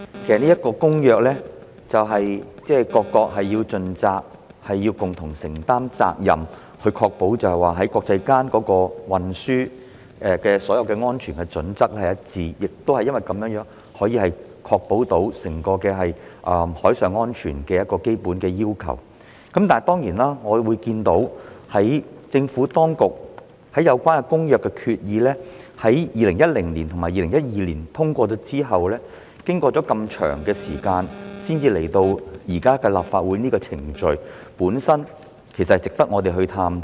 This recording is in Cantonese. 其實各國須就《公約》盡責，共同承擔責任，以確保國際間運輸的所有安全準則一致，亦因如此，可確保達致整個海上安全的基本要求，但當然，我們看到政府當局在有關《公約》的決議於2010年及2012年通過後，經過這麼長時間才來到今天的立法程序，箇中因由亦值得我們探討。